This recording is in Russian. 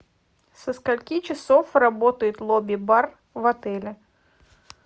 со скольки часов работает лобби бар в отеле